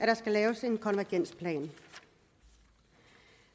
der skal laves en konvergensplan